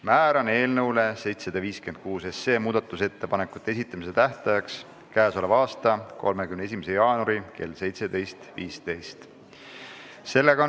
Määran eelnõu 756 muudatusettepanekute esitamise tähtajaks k.a 31. jaanuari kell 17.15.